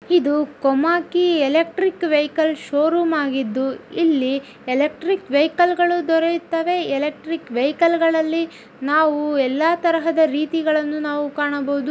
ಇದು Komaki electric vehicle showroom ಆಗಿದು ಇಲ್ಲಿ ಎಲೆಕ್ಟ್ರಿಕ್ ವೆಹಿಕಲ್ ದೊರೆಯುತ್ತದೆ ಎಲೆಕ್ಟ್ರಿಕ್ ವೆಹಿಕಲ್ ಎಲ್ಲಾ ರೀತಿ ಕಾಣಬಹುದು.